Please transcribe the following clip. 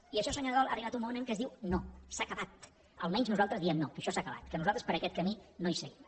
i això senyor nadal ha arribat un moment en què es diu no s’ha acabat almenys nosaltres diem no que això s’ha acabat que nosaltres per aquest camí no hi seguim